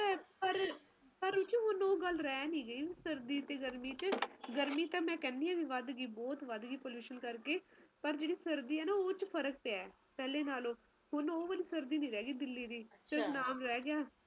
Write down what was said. ਹੁਣ ਉਹ ਗੱਲ ਰਹਿ ਨਹੀਂ ਗਈ ਸਰਦੀ ਤੇ ਗਰਮੀ ਚ ਗਰਮੀ ਤਾ ਮੈ ਕਹਿਣੀ ਆ ਵੱਧ ਗਯੀ ਬਹੁਤ ਵੱਧ ਗਈ ਕਰਕੇ ਸਰਦੀ ਐ ਨਾ ਉਸ ਚ ਫਰਕ ਪਿਆ ਪਹਿਲਾ ਨਾਲੋਂ ਹੁਣ ਉਹ ਵਾਲੀ ਸਰਦੀ ਨੀ ਰਹਿ ਗਈ ਦਿੱਲੀ ਦੀ ਸਿਰਫ ਇੱਕ ਨਾਮ ਰਹਿ ਗਿਆ